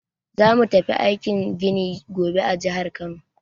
Za mu tafi aikin gini gobe a jihar Kano.